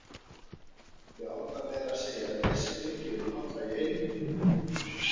Ég ákvað meira að segja að lesa Biblíuna alla í einu